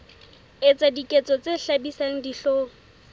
etsa diketso tse hlabisang dihlong